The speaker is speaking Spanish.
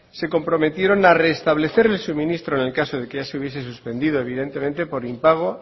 se comprometieron a restablecer el suministro en el caso de que ya se hubiese suspendido evidentemente por impago